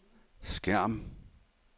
skærm